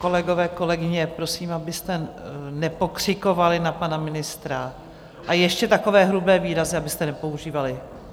Kolegové, kolegyně, prosím, abyste nepokřikovali na pana ministra a ještě takové hrubé výrazy abyste nepoužívali.